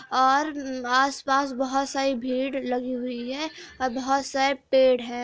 और आस पास बहुत सारी भीड़ लगी हुई है। और बहोत सारे पेड़ हैं।